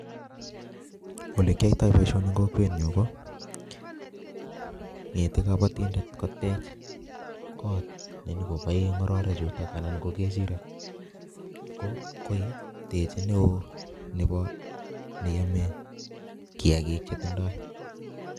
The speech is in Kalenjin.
Ole kiyoitoi boisoni eng' kokwet nyu koo ngete kabatindet kotech koot nenyikobae ng'ororek chutok anan ko kechirek. Ko um techei neoo nebo neyame kiyakiak che tindoi